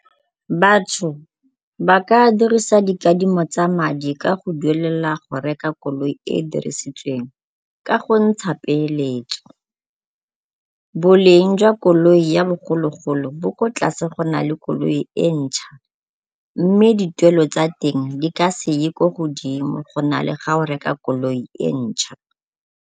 Batho ba ka dirisa dikadimo tsa madi ka go duelela go reka koloi e e dirisitsweng ka go ntsha peeletso. Boleng jwa koloi ya bogologolo bo ko tlase go na le koloi e ntšha mme dituelo tsa teng di ka se ye ko godimo go na le ga o reka koloi e ntšha.